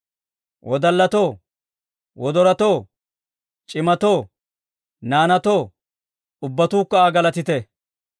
Wodallatoo, wodoratoo, c'imatoo, naanaatoo, Ubbatuukka Aa galatite!